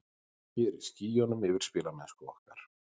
Ég er í skýjunum yfir spilamennsku okkar.